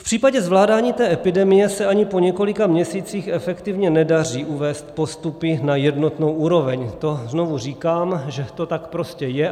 V případě zvládání té epidemie se ani po několika měsících efektivně nedaří uvést postupy na jednotnou úroveň, to znovu říkám, že to tak prostě je.